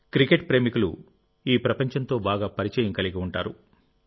cricket ప్రేమికులు ఈ ప్రపంచంతో బాగా పరిచయం కలిగి ఉంటారు